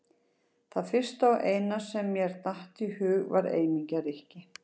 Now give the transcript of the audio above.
Það fyrsta og eina sem mér datt í hug var eymingja Rikki!